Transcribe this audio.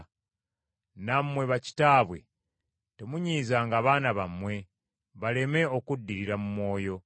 Nammwe bakitaabwe temunyiizanga baana bammwe baleme okuddirira mu mwoyo.